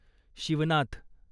Shivnath